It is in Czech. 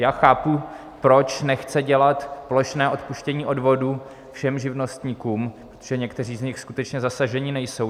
Já chápu, proč nechce dělat plošné odpuštění odvodů všem živnostníkům, protože někteří z nich skutečně zasaženi nejsou.